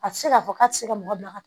A tɛ se k'a fɔ k'a tɛ se ka mɔgɔ bila ka taa